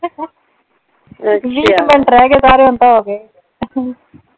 ਅੱਛਾ। ਵੀਹ ਕੁ ਮਿੰਟ ਰਹਿ ਗਏ ਸਾਰੇ ਹੁਣ ਤਾਂ ਹੋ ਗਏ